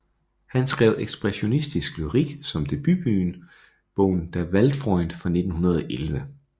Han skrev ekspressionistisk lyrik som debutbogen Der Weltfreund fra 1911